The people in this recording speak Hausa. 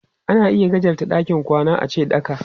Ana iya gajarta ɗakin kwana ace ɗaka.